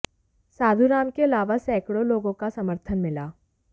साधु राम के अलावा सैंकडों लोगों का समर्थन मिला